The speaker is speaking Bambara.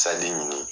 ɲini